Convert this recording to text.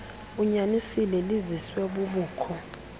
unyanisile liziswe bubukho